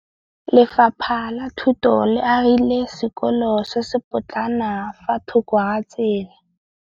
Lefapha la Thuto le agile sekôlô se se pôtlana fa thoko ga tsela.